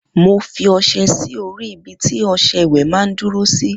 Mo fi ọsẹ sí orí ibití ọsẹ ìwè mà n dúró sí